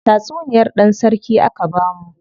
Tatsuniyar dan sarki aka bamu.